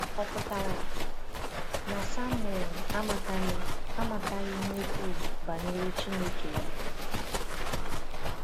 Ọ̀ pụtara na Samuel amataghị amataghị ihe ukwuu banyere Chineke ya?